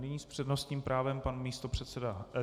Nyní s přednostním právem pan místopředseda...